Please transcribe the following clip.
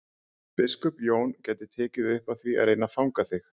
Biskup Jón gæti tekið upp á því að reyna að fanga þig.